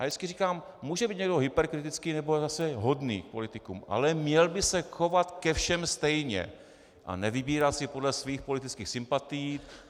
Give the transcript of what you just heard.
Já vždycky říkám, může být někdo hyperkritický, nebo zase hodný k politikům, ale měl by se chovat ke všem stejně a nevybírat si podle svých politických sympatií.